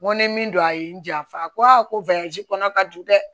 N ko ni min don a ye n janfa a ko ko kɔnɔ ka du dɛ